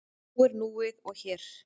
Nú er núið og hér.